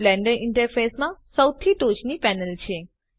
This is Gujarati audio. તે બ્લેન્ડર ઈન્ટરફેસમાં સૌથી ટોચની પેનલ છે